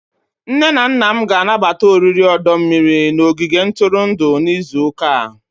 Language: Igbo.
Nne na nna m ga-anabata oriri ọdọ mmiri n',ogige ntụrụndụ n'izu ụka a.